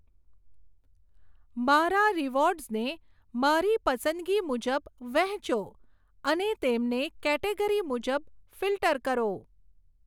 મારા રીવોર્ડસને મારી પસંદગી મુજબ વહેંચો અને તેમને કેટેગરી મુજબ ફિલ્ટર કરો.